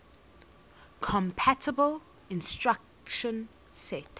compatible instruction set